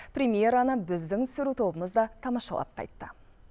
премъераны біздің түсіру тобымыз да тамашалап қайтты